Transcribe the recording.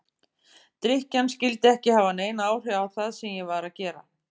Drykkjan skyldi ekki hafa nein áhrif á það sem ég var að gera.